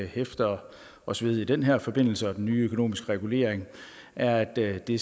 hæfter os ved i den her forbindelse og den nye økonomiske regulering er at det